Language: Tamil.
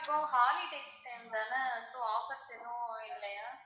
இபோ holidays time தானே so offers எதுவும் இல்லையா?